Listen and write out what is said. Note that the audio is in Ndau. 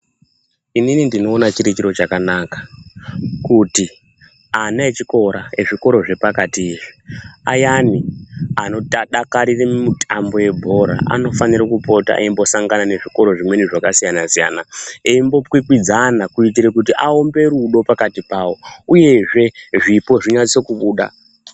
Inini ndinoona chiri chiro chakanaka kuti ana echikora ezvikoro zvepakati izvi ayani anodakarire mitambo yebhora anofanira kupota eimbosangana nezvikora zvimweni zvakasiyana siyana eimbokwikw idzana kuitira kuti aumbe rudo pakati pawo uyezve zvipo zvinase kubuda .